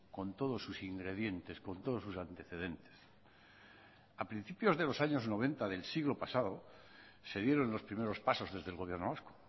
con todos sus ingredientes con todos sus antecedentes a principios de los años noventa del siglo pasado se dieron los primeros pasos desde el gobierno vasco